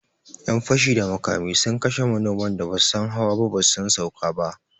Yan fashi da makami sun kashe manoman da basu san hawa ba basu san sauka ba